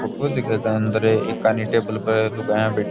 photo जीके गै अंदर एक कानी टेबल पे लुगायां बैठी --